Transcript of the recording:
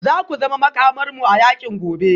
Za ku zama Makamarmu a yakin gobe